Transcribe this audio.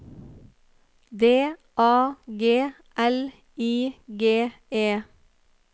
D A G L I G E